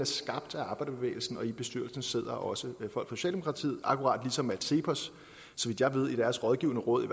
skabt af arbejderbevægelsen og i bestyrelsen sidder også folk fra socialdemokratiet akkurat ligesom cepos så vidt jeg ved i deres rådgivende råd i